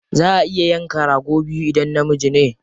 Za a iya yanka rago biyu idan namiji ne.